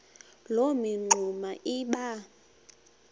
loo mingxuma iba